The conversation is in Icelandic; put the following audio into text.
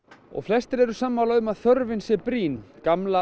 og flestir eru sammála um að þörfin sé brýn gamla